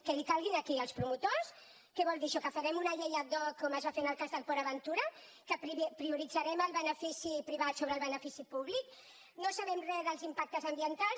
que li calgui a qui als promotors què vol dir això que farem una llei ad hocen el cas de port aventura que prioritzarem el benefici privat sobre el benefici públic no en sabem re dels impactes ambientals